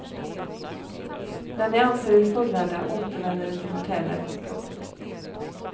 När ni anser er fullärda återvänder ni till hotellet. punkt